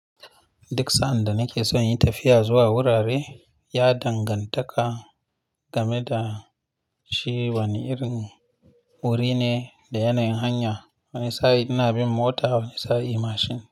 Duk sa'an da nake son yin tafiya zuwa wurare, ya danganta game da shi wane irin wuri ne da yanayin hanya. Wani sa'i ina bin mota, wani sa'i mashin.